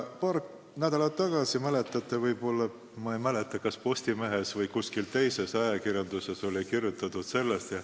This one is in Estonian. Paar nädalat tagasi, ma ei mäleta, kas Postimehes või kuskil mujal ajakirjanduses kirjutati sellest.